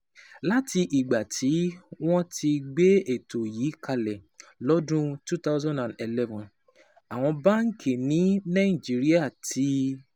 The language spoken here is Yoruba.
Láti ìgbà tí wọ́n ti gbé ètò yìí kalẹ̀ lọ́dún wo thousand and eleven, àwọn báńkì ní Nàìjíríà ti